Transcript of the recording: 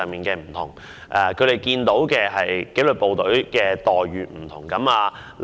據他們所見，紀律部隊之間有不同待遇。